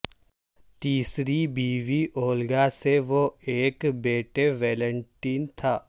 تیسری بیوی اولگا سے وہ ایک بیٹے ویلینٹن تھا